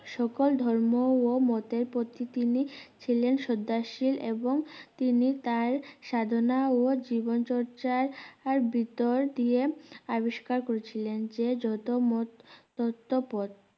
সকল ধর্ম ও মতে প্রতিটি তিনি ছিলেন শ্রদ্ধাশীল এবং তিনি তার সাধনা ও জীবনচর্চার আর ভিতর দিয়ে আবিস্কার করছিলেন যে যত মত ততো পথ